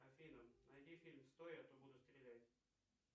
афина найди фильм стой а то буду стрелять